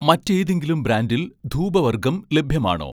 മറ്റേതെങ്കിലും ബ്രാൻഡിൽ ധൂപവർഗ്ഗം ലഭ്യമാണോ